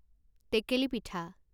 টেকেলি পিঠা